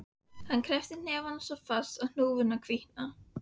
Hann kreppir hnefana svo fast að hnúarnir hvítna.